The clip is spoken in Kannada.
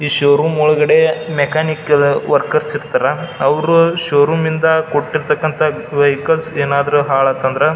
ಈ ಷೋರೂಮ್ ಒಳಗಡೆ ಮೆಕಾನಿಕ ವರ್ಕರ್ಸ್ ಇರ್ತಾರ ಅವ್ರ ಷೋರೂಮ್ ಒಳಗಡೆ ಕೊಟ್ಟಿರ್ತಕ್ಕಂತ ವೆಹಿಕಲ್ಸ್ ಏನಾದ್ರು ಹಾಳಾತಂದ್ರ --